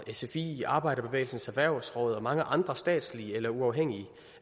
sfi arbejderbevægelsens erhvervsråd og mange andre statslige eller uafhængige